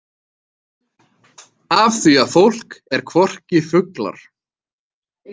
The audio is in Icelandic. Af því að fólk er hvorki fuglar.